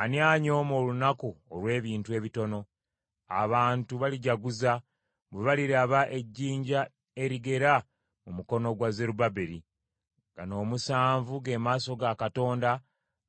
“Ani anyooma olunaku olw’ebintu ebitono? Abantu balijaguza, bwe baliraba ejjinja erigera mu mukono gwa Zerubbaberi. Gano omusanvu ge maaso ga Katonda